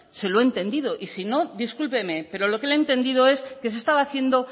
se lo he entendido y si no discúlpeme pero lo que le he entendido es que se estaba haciendo